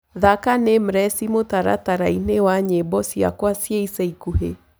thaka nameless mũtarataraini wa nyĩmbo cĩakwa cia ĩca ĩkũhĩ